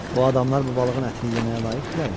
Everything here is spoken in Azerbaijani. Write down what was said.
O adamlar bu balığın ətini yeməyə layiqdirlərmi?